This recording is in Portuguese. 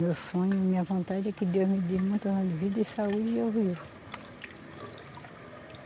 Meu sonho, minha vontade é que Deus me dê muitos anos de vida e saúde e eu viva.